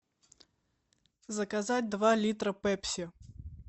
заказать два литра пепси